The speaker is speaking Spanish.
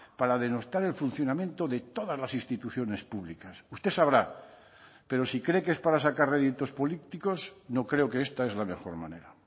para denostar el funcionamiento de todas las instituciones públicas usted sabrá pero si cree que es para sacar réditos políticos no creo que esta es la mejor manera